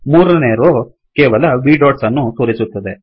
ಮೂರನೇ ರೋ ಕೇವಲ v dotsಡೊಟ್ಸ್ ಅನ್ನು ತೋರಿಸುತ್ತದೆ